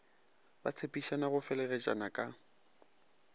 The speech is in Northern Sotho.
ba tshepišana go fegeletšana ka